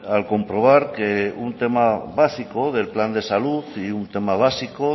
al comprobar que un tema básico del plan de salud y un tema básico